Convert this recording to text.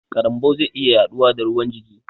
Karambau zai iya yaɗuwa da ruwan jiki